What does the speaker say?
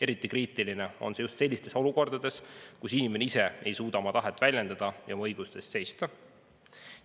Eriti kriitiline on see just sellistes olukordades, kus inimene ise ei suuda oma tahet väljendada ja oma õiguste eest seista.